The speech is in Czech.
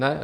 Ne?